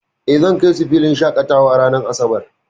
Eh, zan kai su filin shaƙatawa ranar asabar.